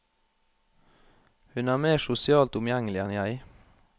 Hun er mer sosialt omgjengelig enn jeg.